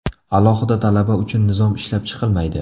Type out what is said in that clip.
Alohida talaba uchun nizom ishlab chiqilmaydi.